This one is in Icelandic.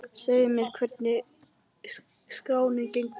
Segðu mér, hvernig hefur skráningin gengið í ár?